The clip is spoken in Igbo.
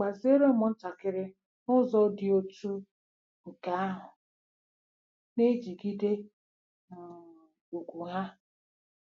Gbaziere ụmụntakịrị n'ụzọ dị otú nke ahụ na-ejigide um ùgwù ha